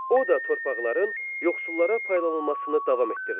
O da torpaqların yoxsullara paylanılmasını davam etdirdi.